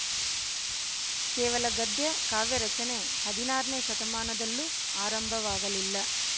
ಕೇವಲ ಗದ್ಯ ಕಾವ್ಯರಚನೆ ಹದಿನಾರನೇ ಶತಮಾನದಲ್ಲೂ ಆರಂಭವಾಗಲಿಲ್ಲ